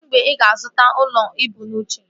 Kedụ mgbe ị ga-azụta ụlọ ibu n'uche?